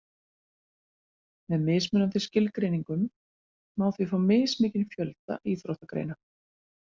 Með mismunandi skilgreiningum má því fá mismikinn fjölda íþróttagreina.